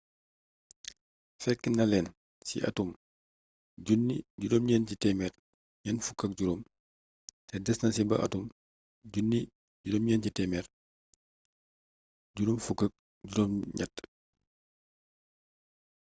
fekki na leen ci atum 1945 te desna ci ba atum 1958